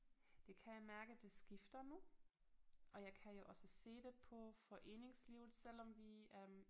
Det kan jeg mærke det skifter nu og jeg kan jo også se det på foreningslivet selvom vi øh